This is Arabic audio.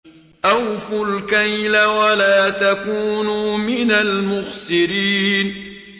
۞ أَوْفُوا الْكَيْلَ وَلَا تَكُونُوا مِنَ الْمُخْسِرِينَ